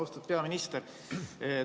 Austatud peaminister!